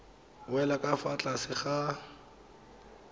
wela ka fa tlase ga